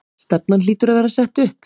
Stefnan hlýtur að vera sett upp?